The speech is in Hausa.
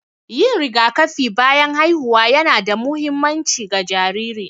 Yin rigakafi bayan haihuwa ƴana da muhimmanci ga jariri.